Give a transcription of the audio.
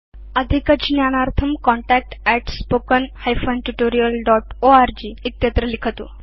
अधिक ज्ञानार्थं contactspoken tutorialorg इत्यत्र लिखतु